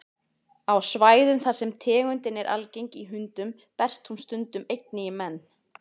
Á svæðum þar sem tegundin er algeng í hundum berst hún stundum einnig í menn.